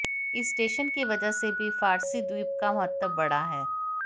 इस स्टेशन की वजह से भी फार्सी द्वीप का महत्व बढ़ा है